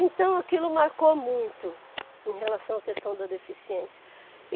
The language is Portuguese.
Então aquilo marcou muito em relação à questão da deficiência.